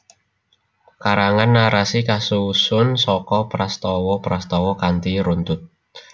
Karangan narasi kasusun saka prastawa prastawa kanthi runtut